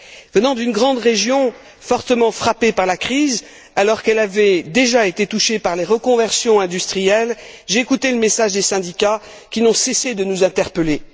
Venant d'une grande région fortement frappée par la crise, alors qu'elle avait déjà été touchée par les reconversions industrielles, j'ai écouté le message des syndicats qui n'ont cessé de nous interpeller.